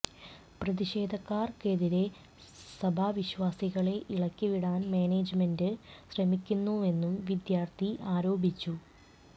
പ്രതിഷേധക്കാർക്കെതിരെ സഭാ വിശ്വാസികളെ ഇളക്കിവിടാൻ മാനേജ്മെന്റ് ശ്രമിക്കുന്നുവെന്നും വിദ്യാർത്ഥി ആരോപിച്ചു